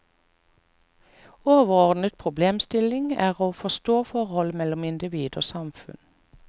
Overordnet problemstilling er å forstå forholdet mellom individ og samfunn.